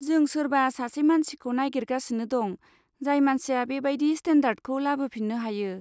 जों सोरबा सासे मानसिखौ नागिरगासिनो दं जाय मानसिया बेबादि स्टेन्डदार्डखौ लाबोफिन्नो हायो।